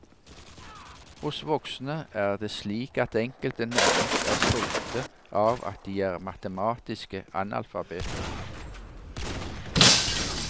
Hos voksne er det slik at enkelte nærmest er stolte av at de er matematiske analfabeter.